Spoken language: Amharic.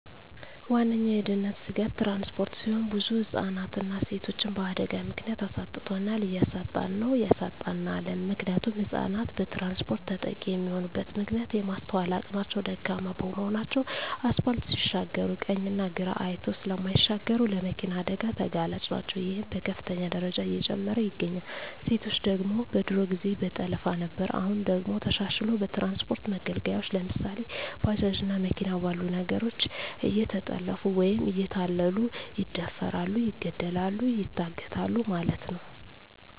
ዋነኛዉ የድህንነት ስጋት ትራንስፖርት ሲሆን ብዙ ህፃናትንና ሴቶችን በአደጋ ምክንያት አሳጥቶናል እያሳጣን ነዉ ያሳጣናልም። ምክንያቱም ህፃናት በትራንስፖርት ተጠቂ የሚሆኑበት ምክንያት የማስትዋል አቅማቸዉ ደካማ በመሆናቸዉ አስፓልት ሲሻገሩ ቀኝና ግራ አይተዉ ስለማይሻገሩ ለመኪና አደጋ ተጋላጭ ናቸዉ ይሄም በከፍተኛ ደረጃ እየጨመረ ይገኛል። ሴቶች ደግሞ በድሮ ጊዜ በጠለፋ ነበር አሁን ደግሞ ተሻሽልሎ በትራንስፖርት መገልገያወች ለምሳሌ፦ ባጃጅ እና መኪና ባሉ ነገሮች እየተጠለፊፉ ወይም እየተታለሉ ይደፈራሉ ይገደላሉ ይታገታሉ ማለት ነዉ።